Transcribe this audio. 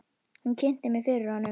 Hún kynnti mig fyrir honum.